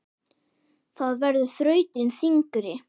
Það verður þrautin þyngri.